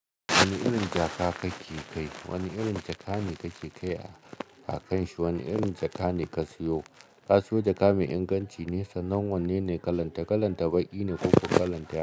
Wani irin jaka kake kai? Wani irin jaka ne kake kai a kanshi? Wani irin jaka ne ka siyo? Ka siyo jaka mai inganci ne, sanan wanene kalanta, kalanta baƙi ne ko kuma kalanta.